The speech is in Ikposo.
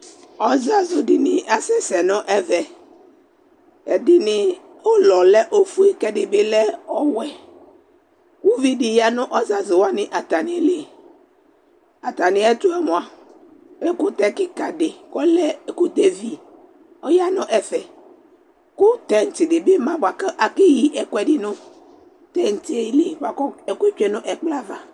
ɔzazo di ni asɛ sɛ no ɛvɛ ɛdini ulɔ lɛ ofue ko ɛdi bi lɛ ɔwɛ uvi di ya no ɔzazo wani atami li atamiɛtoɛ moa ɛkotɛ keka di kó ɔlɛ ɛkotɛ vi ɔya no ɛfɛ ko tɛnt di bi ma ko akeyi ɛkoɛdi no tɛntiɛ li boa ko ɛkoɛ tsue no ɛkplɔ ava